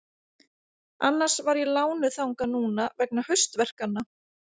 Annars var ég lánuð þangað núna vegna haustverkanna.